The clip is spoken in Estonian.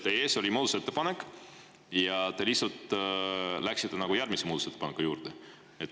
Teie ees oli muudatusettepanek ja te lihtsalt läksite nagu järgmise muudatusettepaneku juurde?